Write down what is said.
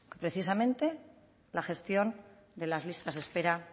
precisamente la gestión de las listas de espera